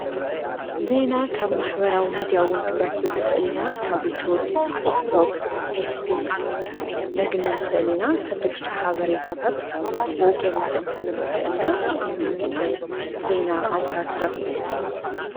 ዘይና ካብ ማኅበራዊ ሚድያውን ክንረክብ ንኽእሊና ካቢቴብ ፊቶቅ ፌስቡቅ ነግንን ኽእሊና ሓደሽቶ ሓበሬይታታት ብኡጌርና ኽንሰምዐን ኽእሊና ኩም ካምንታይ ዘይና ኣውታር ትረኽቡ?